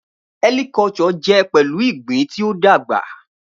Helicculture jẹ pẹlu igbin ti o dagba.